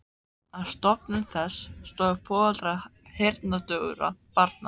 Að stofnun þess stóðu foreldrar heyrnardaufra barna.